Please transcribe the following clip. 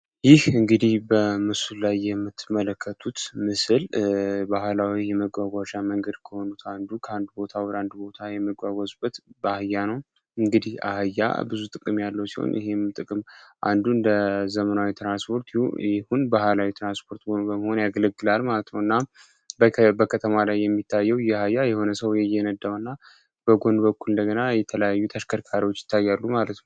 ይህ እንግዲህ በምስሱ ላይ የምትመለከቱት ምስል ባህላዊ የመጓጓዣ መንገድ ከሆኑት አንዱ ከአንድ ቦታ ወደ 1 ቦታ የሚጓጓዙበት በአህያ ነው። እንግዲህ አህያ ብዙ ጥቅም ያለው ሲሆን፤ ይህም ጥቅም አንዱን እንደ ዘመናዊ ትራንስፖርት ይሁን ባህላዊ የትራንስፖርት ሆኖ በመሆን ያገለግላል ማለት ነው። እና በከተማዋ ላይ የሚታዩ አህያ የሆነ ሰው እየነዳው እና በጎን በኩል እንደገና የተለያዩ ተሽከርካሪዎች ይታያሉ ማለት ነው።